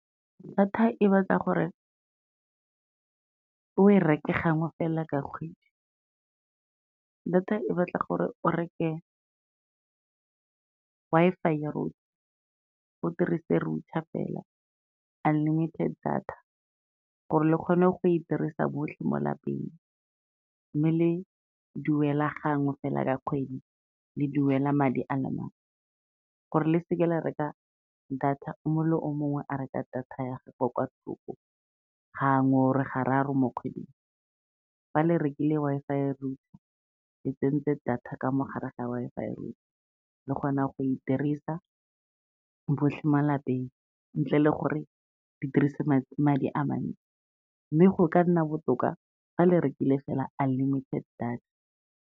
Data e batla gore o e reke gangwe fela ka kgwedi. Data e batla gore o reke Wi-Fi router, o dirise router fela, unlimited data gore le kgone go e dirisa botlhe mo lapeng, mme le duela gangwe fela ka kgwedi le duela madi a le mangwe, gore le seke la reka data, o mongwe le o mongwe a reka data ya gagwe kwa thoko, gangwe or gararo mo kgweding. Fa le rekile Wi-Fi router, le tsentse data ka mogare ga Wi-Fi router le kgona go e dirisa botlhe mo lapeng, ntle le gore le dirise madi a mantsi, mme go ka nna botoka fa le rekile fela unlimited data.